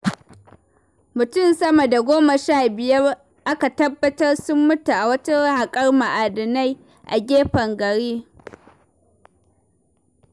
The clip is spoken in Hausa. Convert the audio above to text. Mutum sama da goma sha biyar aka tabbatar sun mutu a wajen haƙar ma'adina a gefen gari.